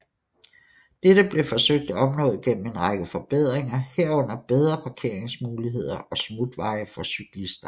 Dette blev forsøgt opnået gennem en række forbedringer herunder bedre parkeringsmuligheder og smutveje for cyklister